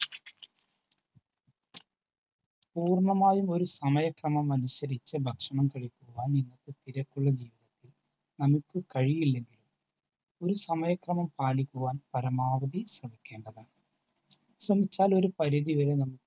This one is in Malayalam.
പൂർണ്ണമായൊരു സമയക്രമം അനുസരിച്ചു കഴിക്കുവാൻ ഈ തിരക്കുള്ള ജീവിതത്തിൽ നമുക്ക് കഴിയില്ലെങ്കിൽ ഒരു സമയക്രമം പാലിക്കുവാൻ നാം പരമാവധി ശ്രമിക്കേണ്ടതാണ്. ശ്രമിച്ചാൽ ഒരു പരിധി വരെ നമുക്ക്